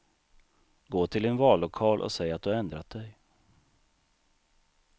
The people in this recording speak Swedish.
Gå till din vallokal och säg att du ändrat dig.